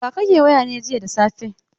Da wa kake waya ne jiya da safe?